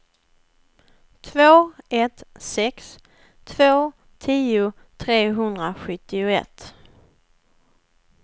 två ett sex två tio trehundrasjuttioett